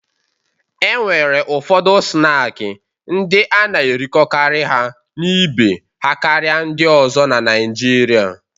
E nwere ụfọdụ snaakị ndị a na-erikọkarị ha na ibe ha karịa ndị ọzọ na Naịjirịa.